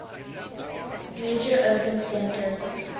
major urban centers